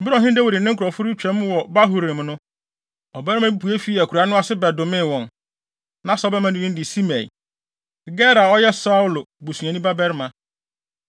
Bere a ɔhene Dawid ne ne nkurɔfo retwa mu wɔ Bahurim no, ɔbarima bi pue fii akuraa no ase bɛdomee wɔn. Na saa ɔbarima no din de Simei, Gera a ɔyɛ Saulo busuani babarima.